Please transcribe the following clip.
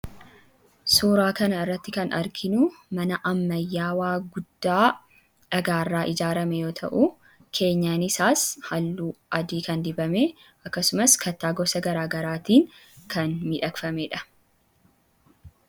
Suuraa kana irratti kan arginu mana ammayyaawaa guddaa dhagaarraa ijaarame yoo ta'u, keenyan isaas halluu adii kan dibame akkasumas kattaa gosa garaagaraatiin kan miidhagfamee dha.